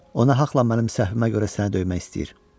Ona haqqla mənim səhvimə görə səni döymək istəyir.